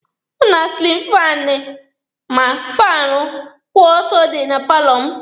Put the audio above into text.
Ma silin faanụ ma faanụ kwụ ọtọ dị na paalọ m.